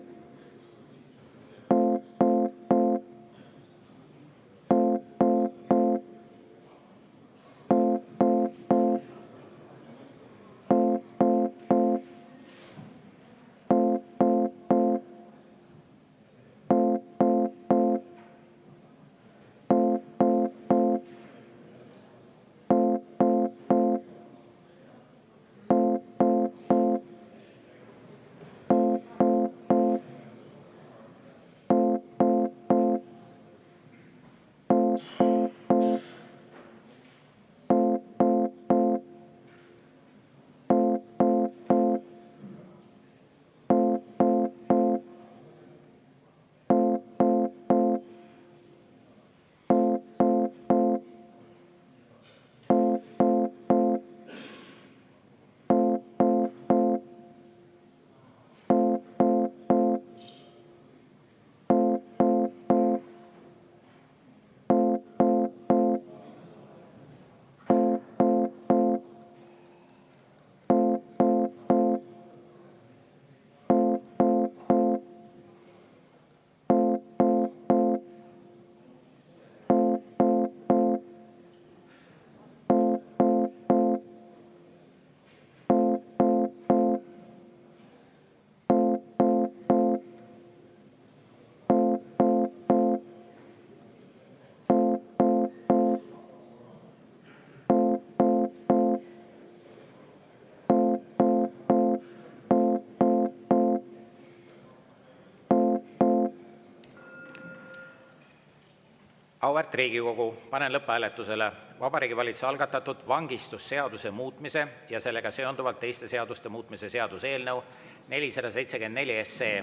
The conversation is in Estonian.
Auväärt Riigikogu, panen lõpphääletusele Vabariigi Valitsuse algatatud vangistusseaduse muutmise ja sellega seonduvalt teiste seaduste muutmise seaduse eelnõu 474.